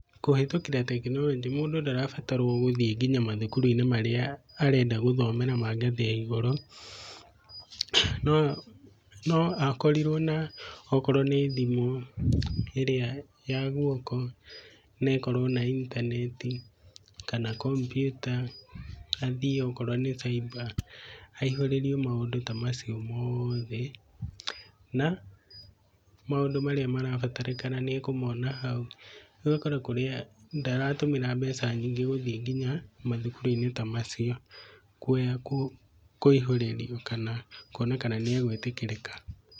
Kũhĩtũkĩra tekinoronjĩ, mũndũ ndarabatarwo gũthiĩ nginya mathukuru marĩa arenda gũthomera mangathĩ ya igũrũ no, noakorirwo okorwo nĩthimũ ĩrĩa ya guoko na ĩkorwo na intanenti kana kpmyuta athiĩ okorwo nĩ caiba aihũrĩrio maũndũ ta macio mothe na maũndũ marĩa marabataranĩka nĩakũmona hau. Rĩu agakora ndarabatara mbeca nyingĩ gũthiĩ nginya mathukuru-inĩ ta macio kũihũrĩrio kana kwonekana kana nĩagũĩtĩkĩrĩka.